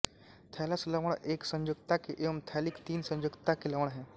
thallus लवण एक संयोजकता के एवं थैलिक तीन संयोजकता के लवण हैं